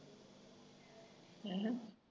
ਹੈਂ